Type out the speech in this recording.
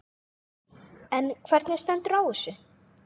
En hvernig stendur á þessu?